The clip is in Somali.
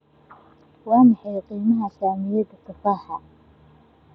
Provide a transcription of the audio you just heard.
Waa maxay qiimaha saamiyada tufaaxa?